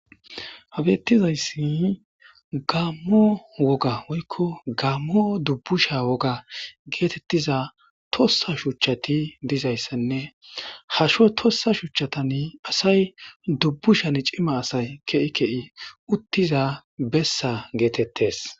ha bettizayssi gaammo woga woykko gammo dubbusha woga geetettiza tossa shuchchati dizayssenne hasho tossa shuchchatan asay dubbushan cima asay ke7i kei uttiza bessa geetettes